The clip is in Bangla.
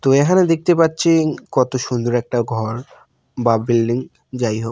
তো এহানে দেখতে পাচ্ছি কত সুন্দর একটা ঘর বা বিল্ডিং যাই হোক--